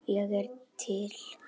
Ég er til